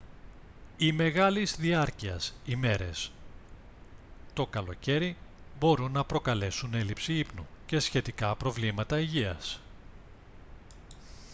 οι μεγάλης διάρκειας ημέρες το καλοκαίρι μπορούν να προκαλέσουν έλλειψη ύπνου και σχετικά προβλήματα υγείας